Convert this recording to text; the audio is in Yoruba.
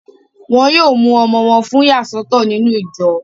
Wọ́n yóò mú ọmọ wọn fún ìyàsọ́tọ̀ nínú ìjọ